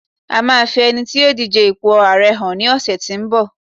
a ma fi ẹni tí yíò dije ipo ààrẹ hàn ni ọsẹ tínbọ̀